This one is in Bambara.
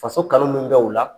Faso kanu min bɛ u la